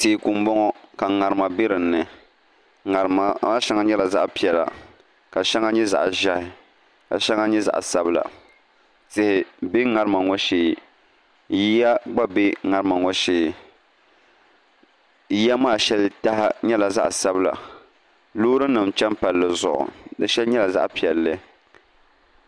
Teeku n boŋo ka ŋarima bɛ dinni ŋarima maa shɛŋa nyɛla zaɣ piɛla ka shɛŋa nyɛ zaɣ ʒiɛhi ka shɛŋa nyɛ zaɣ sabila tihi bɛ ŋarima ŋo shee yiya gba bɛ ŋarima ŋo shee yiya maa shɛli taha nyɛla zaɣ sabila loori nim chɛni palli zuɣu di shɛli nyɛla zaɣ piɛlli